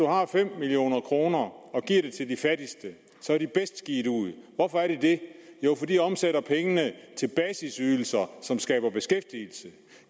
har fem million kroner og giver dem til de fattigste så er de bedst givet ud hvorfor er de det jo for de omsætter pengene til basisydelser som skaber beskæftigelse